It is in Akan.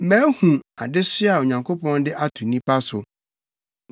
Mahu adesoa a Onyankopɔn de ato nnipa so.